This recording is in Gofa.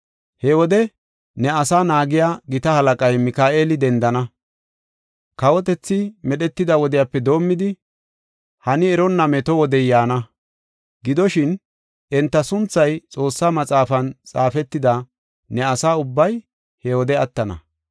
“He wode ne asaa naagiya gita halaqay, Mika7eeli dendana. Kawotethi medhetida wodiyape doomidi, hani eronna meto wodey yaana. Gidoshin, enta sunthay Xoossa Maxaafan xaafetida ne asa ubbay he wode attana.